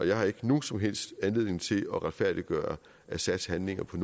jeg har ikke nogen som helst anledning til at retfærdiggøre assads handlinger på